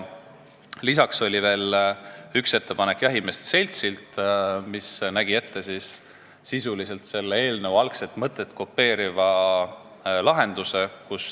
Lisaks oli üks ettepanek jahimeeste seltsilt, mis nägi sisuliselt ette eelnõu algset mõtet kopeeriva lahenduse.